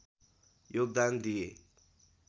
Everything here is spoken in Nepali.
योगदान दिए